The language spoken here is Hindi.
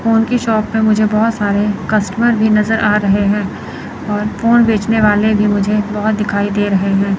फोन की शॉप है मुझे बहुत सारे कस्टमर भी नज़र आ रहे हैं और फोन बेचने वाले भी मुझे बहुत दिखाई दे रहे हैं।